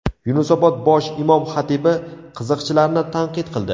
Yunusobod bosh imom-xatibi qiziqchilarni tanqid qildi.